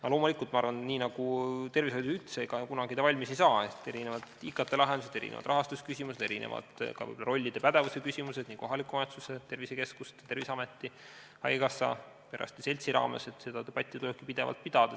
Aga loomulikult ma arvan, et nii nagu tervishoid üldse kunagi valmis ei saa, on ka IKT-lahenduste, rahastusküsimuste ja võib-olla ka erinevate rollide pädevuse küsimustega, mille üle tulebki kohaliku omavalitsuse, tervisekeskuste, Terviseameti, haigekassa, perearstide seltsiga pidevalt debatti pidada.